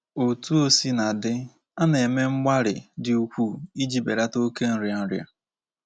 Otú o sina dị, a na-eme mgbalị dị ukwuu iji belata oke nria nria.